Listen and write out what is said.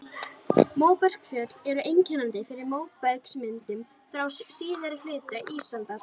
Móbergsfjöll eru einkennandi fyrir móbergsmyndunina frá síðari hluta ísaldar.